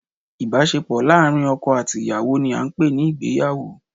Ìbásepò láàrín oko àti ìyàwó ni a n pè ní Ìgbéyàwó